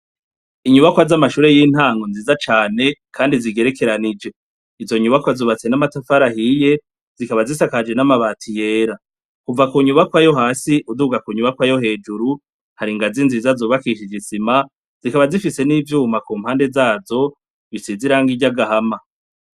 Inyubakwa z'amashure y'intango nziza cane kandi zigerekeranije izo nyubakwa zubatse n'amatafari ahiye zikaba zisakaje n'amabati yera. Kuva ku nyubakwa yo hasi uduga ku nyubakwa yo hejuru, hari ingazi nziza zubakishije isima zikaba zifise n'ivyuma ku mpande zazo zisize irangi ry'agahama.